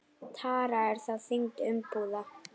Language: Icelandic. Tara er þá þyngd umbúða.